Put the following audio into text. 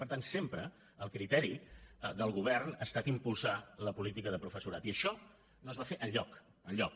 per tant sempre el criteri del govern ha estat impulsar la política de professorat i això no es va fer enlloc enlloc